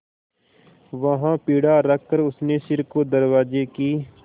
वहाँ पीढ़ा रखकर उसने सिर को दरवाजे की